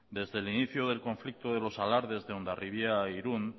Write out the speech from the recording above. desde el inicio del conflicto de los alardes de hondarribia y de irun